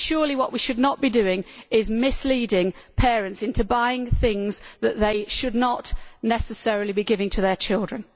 Surely what we should not be doing is misleading parents into buying things that they should not necessarily be giving to their children.